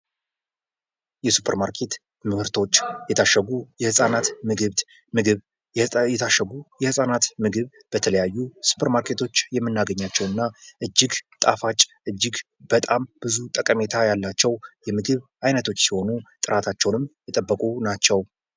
የሱፐር ማርኬት ምርቶች የታሸጉ የህጻናት ምግብ ምግብ የታሸጉ የህጻናት ምግብ በተለያዩ ሱፐር ማርኬቶች የምናገኛቸው እና እጅግ ጣፋጭ እጅግ በጣም ብዙ ጠቀሜታ ያላቸው የምግብ አይነቶች ሲሆኑ ጥራታቸውንም የጠበቁ ናቸው።